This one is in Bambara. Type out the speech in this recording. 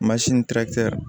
ni